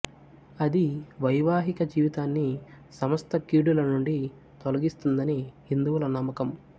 అది వైవాహిక జీవితాన్ని సమస్త కీడుల నుండి తొలగిస్తుందని హిందువుల నమ్మకం